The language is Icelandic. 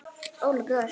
Óli bróðir.